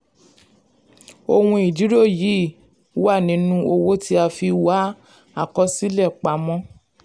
ohun ìdúró yìí wà nínú owó tí a fi wá àkọsílẹ̀ pamọ́.